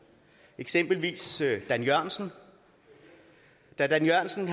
eksempelvis dan jørgensen da dan jørgensen